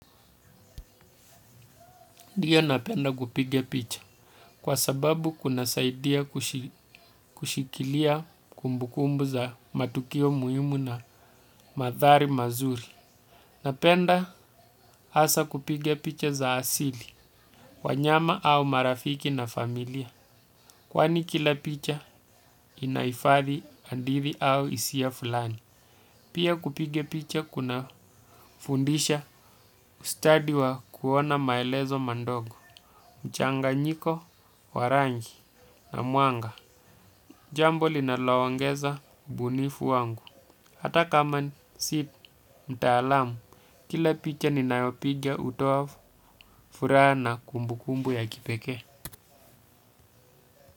Ndio napenda kupiga picha, kwa sababu kunasaidia kushikilia kumbukumbu za matukio muhimu na manthari mazuri. Napenda hasaa kupige picha za asili, wanyama au marafiki na familia. Kwani kila picha inahifadhi hadithi au hisia fulani. Pia kupiga picha kunafundisha, ustadi wa kuona maelezo madogo, mchanganyiko, wa rangi na mwanga. Jambo linaloongeza ubunifu wangu hata kama si mtaalamu, kila picha ninayopiga hutoa furaha na kumbukumbu ya kipekee.